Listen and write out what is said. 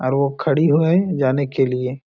और वो खड़ी है जाने के लिए --